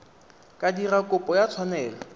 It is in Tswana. ka dira kopo ya tshwanelo